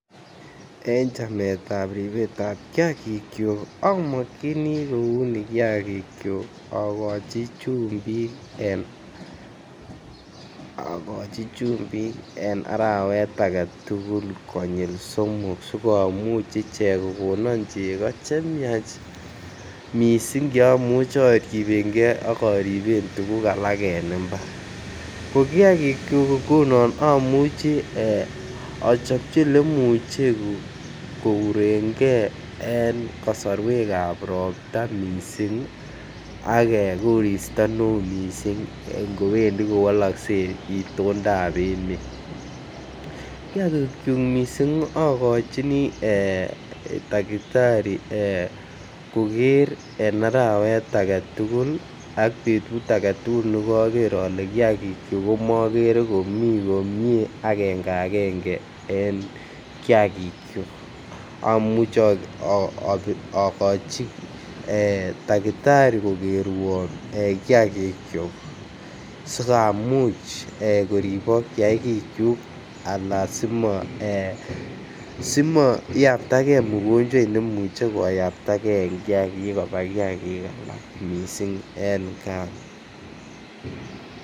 En chametab ribetab kiagikyok amokyini kouni kiagikyok agochi chumbik en agochi chumbik en arawet agetugul Konyil somok sikomuch ichek kogonon chego che myach missing che imuche oribengee ako riben tuguk alak en imbar ko kiagikyuk ngunon omuche ochobji ele muche kourengee en kosorwekab ropta missing ak koristo ne oo missing ngowendi ko wolokse itondap emet. Kiagikyok missing ogochini ee takitari ee koger en arawet agetugul ak betut agetugul ne koger ole kiagikyuk korogere komii komie angenge ngenge en kiagikyuk. Omuche ogochi takitari kogerwon ee kiagikyuk sikamuch koribok kiagikyuk ala simo ee simo iyabta gee ugonjwoit nemuche koyapta gee en kiagik alak missing en gaa